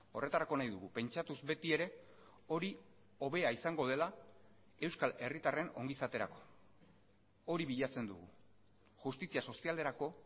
horretarako nahi dugu pentsatuz beti ere hori hobea izango dela euskal herritarren ongizaterako hori bilatzen dugu justizia sozialerako